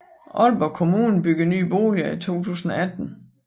Aalborg Kommune byggede nye boliger i 2008